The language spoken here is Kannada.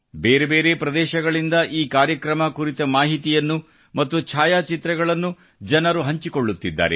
ಬೇರೆ ಬೇರೆ ಪ್ರದೇಶಗಳಿಂದ ಈ ಕಾರ್ಯಕ್ರಮಕುರಿತ ಮಾಹಿತಿ ಮತ್ತು ಛಾಯಾಚಿತ್ರಗಳನ್ನು ಜನರು ಹಂಚಿಕೊಳ್ಳುತ್ತಿದ್ದಾರೆ